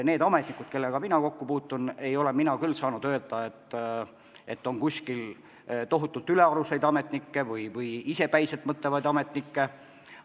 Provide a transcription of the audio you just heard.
Need ametnikud, kellega mina kokku puutun – mina küll ei saa öelda, et kuskil on tohutult ülearuseid ametnikke või isepäiselt mõtlevaid ametnikke.